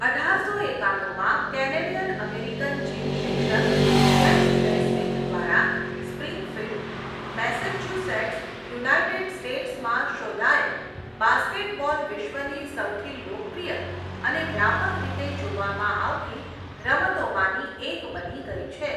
અઢારસો એકાણુંમાં Canadian American gym શિક્ષક જેમ્સ નૈસ્મિથ દ્વારા સ્પ્રિંગફીલ્ડ, મેસેચ્યુસેટ્સ, યુનાઇટેડ સ્ટેટ્સમાં શોધાયેલ, બાસ્કેટબોલ વિશ્વની સૌથી લોકપ્રિય અને વ્યાપક રીતે જોવામાં આવતી રમતોમાંની એક બની ગઈ છે.